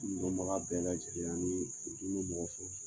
N dɔnbaga bɛɛ lajɛlen anii furudimi be mɔgɔ fɛn fɛ